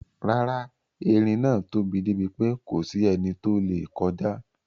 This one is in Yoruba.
Rárá, eerin náà tóbi débi pé kòsí ẹni tó lè kọjá.